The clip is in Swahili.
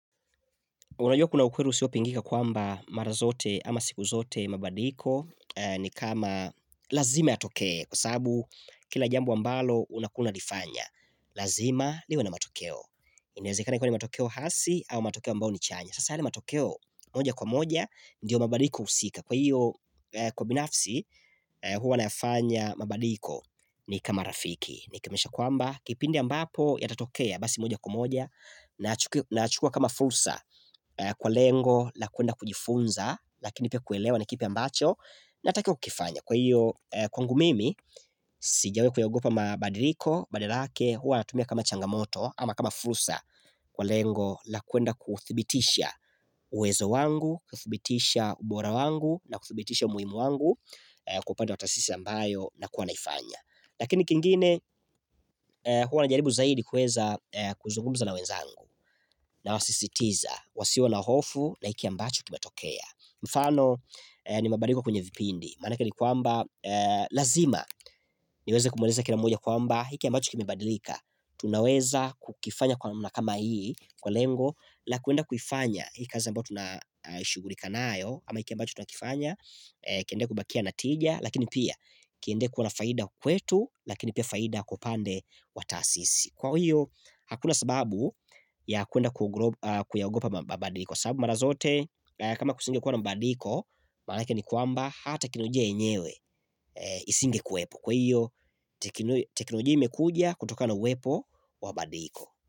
Unajua kuna ukweli usiopingika kwamba mara zote ama siku zote mabadiliko ni kama lazima yatokee kwa sababu kila jambo ambalo unakua unalifanya. Lazima liwe na matokeo. Inaezekana ikakua ni matokeo hasi au matokeo ambao ni chanya. Sasa yale matokeo, moja kwa moja ndiyo mabadiliko husika. Kwa hiyo kwa binafsi huwa nayafanya mabadiliko ni kama rafiki. Nikimaanisha kwamba kipindi ambapo yatatokea basi moja kwa moja Nayachukua kama fursa kwa lengo la kwenda kujifunza, lakini pia kuelewa na kipi ambacho naatakiwa kukifanya. Kwa hiyo kwangu mimi sijawahi kuyaogopa mabadiliko Badala yake huwa natumia kama changamoto Ama kama fursa kwa lengo la kwenda kuthibitisha uwezo wangu, kuthibitisha ubora wangu na kuthibitisha umuhimu wangu kupata kwa taasisi ambayo nakuwa naifanya Lakini kingine huwa najaribu zaidi kuweza kuzungumza na wenzangu Nawasisitiza, wasiwe na hofu na hiki ambacho kimetokea Mfano ni mabadiliko kwenye vipindi, maanake ni kwamba lazima niweze kumweleza kila mmoja kwamba hiki ambacho kimebadilika tunaweza kukifanya kwa namna kama hii kwa lengo la kwenda kuifanya hii kazi ambayo tunashughulika nayo ama hiki ambacho tunakifanya, kiende kubakia natija Lakini pia kiende kuwa na faida kwetu lakini pia faida kwa upande wa taasisi. Kwa hiyo hakuna sababu ya kwenda kuyaogopa mabadiko sababu mara zote kama kusingekuwa na mabadiko Maanake ni kwamba hata teknolojia yenyewe isingekuwepo Kwa hiyo teknolojia imekuja kutoka na uwepo wa mabadiliko.